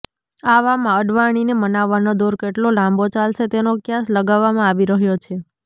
આવામાં અડવાણીને મનાવવાનો દૌર કેટલો લાંબો ચાલશે તેનો ક્યાસ લગાવવામાં આવી રહ્યો છે